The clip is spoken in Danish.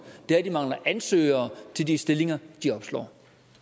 det er at de mangler ansøgere til de stillinger de opslår